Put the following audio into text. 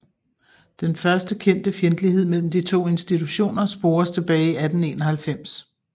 Den første kendte fjendtlighed mellem de to institutioner spores tilbage til 1891